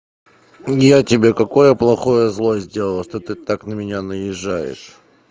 я тебе какое плохое зло сделал что ты так на меня наезжаешь